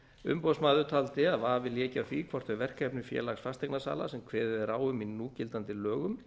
umboðsmaður taldi að vafi léki á því hvort þau verkefni félags fasteignasala sem kveðið er á um í núgildandi lögum